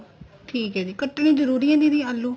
ਠੀਕ ਏ ਦੀਦੀ ਕਟਨੇ ਜਰੂਰੀ ਏ ਦੀਦੀ ਆਲੂ